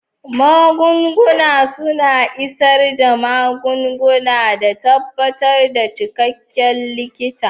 Magunguna suna isar da magunguna da tabbatar da cikakken likita.